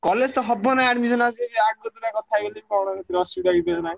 College ତ ହବ ନା admission ଆସିକି ଆଗତରା କଥା ହେଇଗଲି କଣ ଏଇଥିରେ ଅସୁବିଧା ହେଇଗଲା।